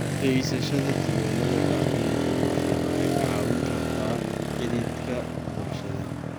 Haysashada diiwaannada dhacdooyinka bulsheed waxay kaa caawin kartaa xidhiidhka bulshada.